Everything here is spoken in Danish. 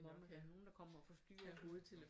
Nogle der kommer og forstyrrer